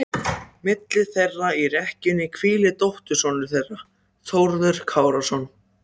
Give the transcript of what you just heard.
Þær ættu að hjálpa upp á andremmuna.